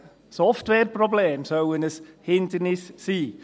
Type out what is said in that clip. Softwareprobleme sollen ein Hindernis sein!